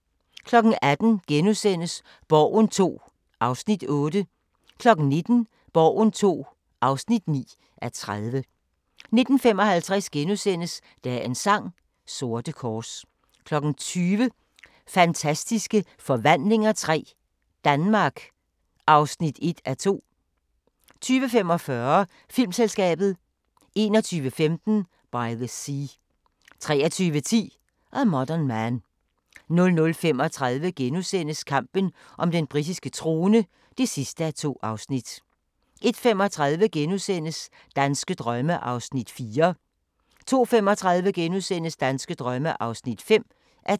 18:00: Borgen II (8:30)* 19:00: Borgen II (9:30) 19:55: Dagens sang: Sorte kors * 20:00: Fantastiske Forvandlinger III – Danmark (1:2) 20:45: Filmselskabet 21:15: By the Sea 23:10: A Modern Man 00:35: Kampen om den britiske trone (2:2)* 01:35: Danske drømme (4:10)* 02:35: Danske drømme (5:10)*